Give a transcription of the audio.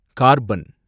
carbon